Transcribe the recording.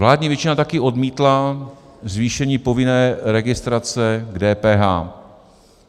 Vládní většina taky odmítla zvýšení povinné registrace k DPH.